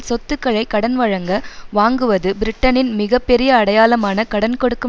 சொத்துக்களை கடன்வழங்க வாங்குவது பிரிட்டனின் மிக பெரிய அடையாளம் கடன் கொடுக்கும்